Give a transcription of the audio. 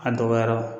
A dɔgɔyara